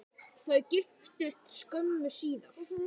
Þau giftust skömmu síðar.